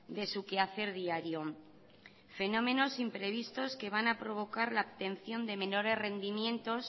de su quehacer diario fenómenos imprevistos que van a provocar la obtención de menores rendimientos